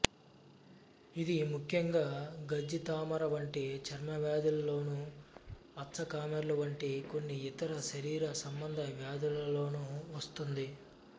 ఇది ముఖ్యంగా గజ్జి తామర వంటి చర్మవ్యాధులలోను పచ్చకామెర్లు వంటి కొన్ని ఇతర శరీర సంబంధ వ్యాధులలోను వస్తుంది